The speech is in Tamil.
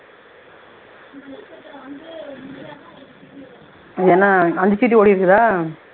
இது என்ன அஞ்சு ஓடியிருக்குதா